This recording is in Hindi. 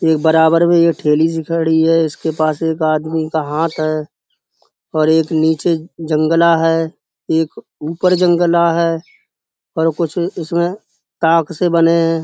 एक बराबर में ये ठेली सी खड़ी है इसके पास एक आदमी का हाथ है और एक नीचे जंगला है एक ऊपर जंगला है और कुछ इसमें ताक से बने हैं।